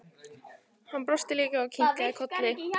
Hann brosti líka og kinkaði kolli.